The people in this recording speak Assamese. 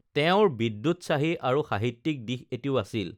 তেঁওৰ বিদ্যোৎসাহী আৰু সাহিত্যিক দিশ এটিও আছিল